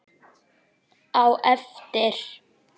Á eftir.